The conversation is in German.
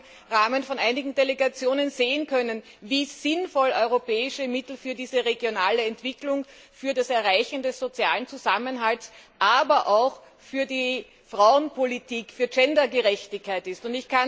Wir haben im Rahmen von einigen Delegationen sehen können, wie sinnvoll europäische Mittel für diese regionale Entwicklung, für das Erreichen des sozialen Zusammenhalts, aber auch für die Frauenpolitik, für Gender Gerechtigkeit ist.